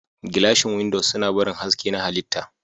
Gilashin windows suna barin haske na halitta.